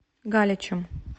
галичем